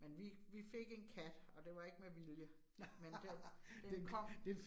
Men vi vi fik en kat, og det var ikke med vilje, men den den kom